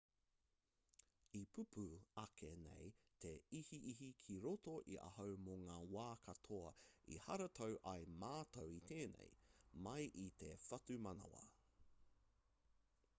i pupū ake nei te ihiihi ki roto i ahau mō ngā wā katoa i haratau ai mātou i tēnei mai i te whatumanawa